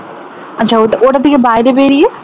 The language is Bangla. আচ্ছা ওটা থেকে বাইরে বেরিয়ে?